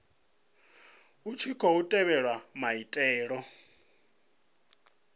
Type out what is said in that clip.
hu tshi khou tevhedzwa maitele